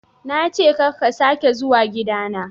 Na ce ka ka sake zuwa gida na.